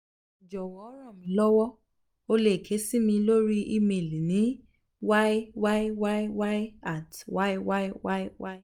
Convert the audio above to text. jọwọ ranmilowo o le ke si mi lori email ni yyyy at yyyy